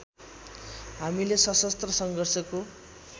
हामीले सशस्त्र सङ्घर्षको